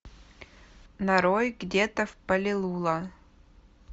нарой где то в палилула